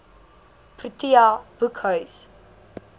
protea boekhuis